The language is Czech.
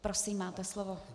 Prosím, máte slovo.